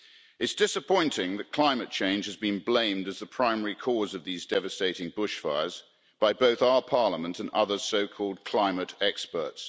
It's disappointing that climate change has been blamed as the primary cause of these devastating bushfires by both our Parliament and other so-called climate experts.